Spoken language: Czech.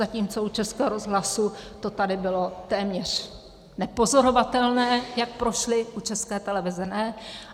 Zatímco u Českého rozhlasu to tady bylo téměř nepozorovatelné, jak prošly, u České televize ne.